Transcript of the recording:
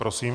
Prosím.